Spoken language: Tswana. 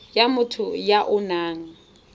ya motho ya o nang